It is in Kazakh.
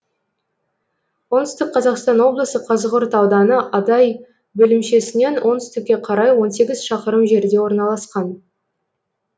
оңтүстік қазақстан облысы қазығұрт ауданы адай бөлімшесінен оңтүстікке қарай он сегіз шақырым жерде орналасқан